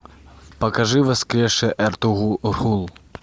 покажи воскресший эртугрул